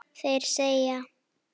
Þeir segja